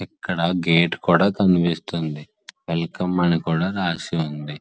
ఇటు గేటు కూడా కనిపిస్తుంది. వెల్కమ్ అని కూడా రాసి ఉంది.